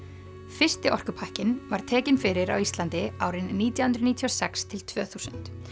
fyrsti orkupakkinn var tekinn fyrir á Íslandi árin nítján hundruð níutíu og sex til tvö þúsund